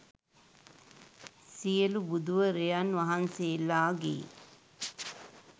සියලු බුදුවරයන් වහන්සේලාගේ